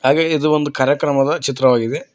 ಹಾಗಾಗಿ ಇದು ಒಂದು ಕಾರ್ಯಕ್ರಮದ ಚಿತ್ರವಾಗಿದೆ.